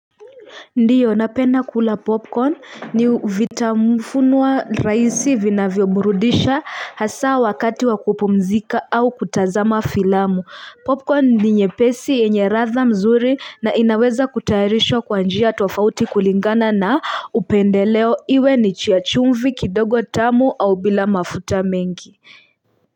Ndiyo napenda kula popcorn ni vitamufunua raisi vina vyoburudisha hasa wakati wakupumzika au kutazama filamu popcorn ni nyepesi enye radha mzuri na inaweza kutairishwa kwa njia tofauti kulingana na upendeleo iwe ni chia chumvi kidogo tamu au bila mafuta mengi.